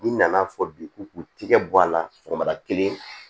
N'i nana fɔ bi k'u k'u tigɛ bɔ a la sɔgɔmada kelen